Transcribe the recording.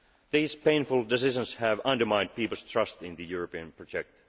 These painful decisions have undermined people's trust in the European project.